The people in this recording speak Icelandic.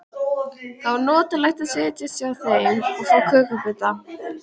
Það var notalegt að setjast hjá þeim og fá kökubita.